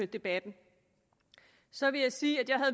debatten så vil jeg sige at jeg